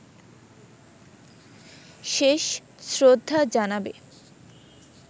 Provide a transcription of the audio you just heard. শেষ শ্রদ্ধা জানাবে